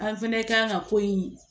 An fɛnɛ kan ka ko in